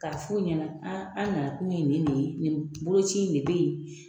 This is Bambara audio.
Ka f'ɔ ɲɛna ,an na kun ye nin de ye , nin boloci de be yen.